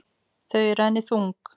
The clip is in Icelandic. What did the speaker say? Þau eru henni þung.